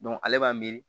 ale b'a miiri